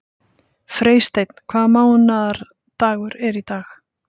Freysteinn, hvaða mánaðardagur er í dag?